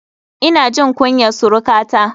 Ina jin kunyar surukata.